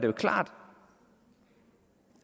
er klart